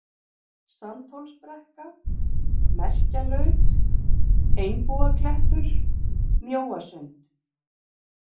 Sandhólsbrekka, Merkjalaut, Einbúaklettur, Mjóasund